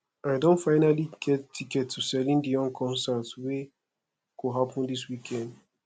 i don finally get ticket to celine dion concert wey go happen dis weekend